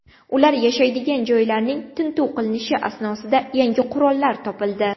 Ular yashaydigan joylarning tintuv qilinishi asnosida yangi qurollar topildi.